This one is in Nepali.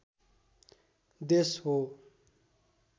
देश हो